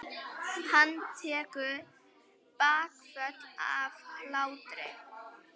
Hann tekur bakföll af hlátri.